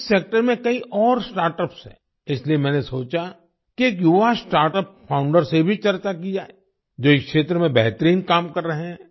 इस सेक्टर में कई और स्टार्टअप्स हैं इसलिए मैंने सोचा कि एक युवा स्टार्टअप फाउंडर से भी चर्चा की जाए जो इस क्षेत्र में बेहतरीन काम कर रहे हैं